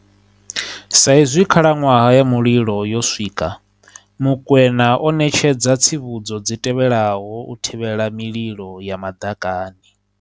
Sa izwi khalaṅwaha ya muli lo yo swika, Mokoena o ṋetshedza tsivhudzo dzi tevhelaho u thivhela mililo ya maḓakani.